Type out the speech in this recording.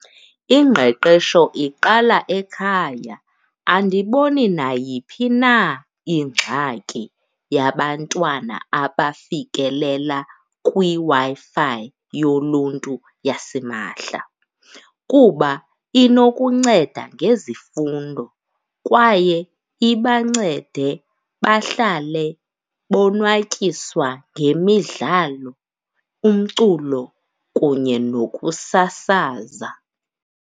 Ingqeqesho iqala ekhaya. Andiboni nayiphi na ingxaki yabantwana abafikelela kwiWi-Fi yoluntu yasimahla kuba inokunceda ngezifundo kwaye ibancede bahlale bonwatyiswa ngemidlalo, umculo kunye nokusasaza.